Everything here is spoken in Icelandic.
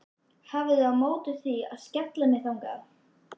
Hafið þið á móti því að ég skelli mér þangað?